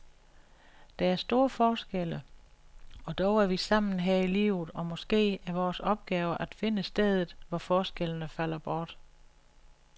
Der er store forskelle og dog er vi sammen her i livet og måske er vores opgave at finde stedet, hvor forskellene falder bort.